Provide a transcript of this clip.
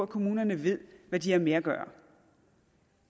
kommunerne ved hvad de har med at gøre